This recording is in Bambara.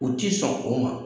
U ti sɔn o ma.